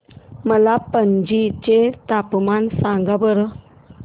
मला पणजी चे तापमान सांगा बरं